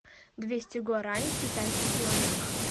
двести гуарани в китайских юанях